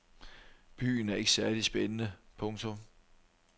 Byen er ikke særlig spændende. punktum